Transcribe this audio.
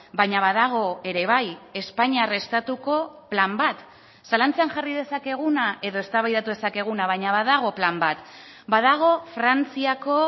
baina badago ere bai espainiar estatuko plan bat zalantzan jarri dezakeguna edo eztabaidatu dezakeguna baina badago plan bat badago frantziako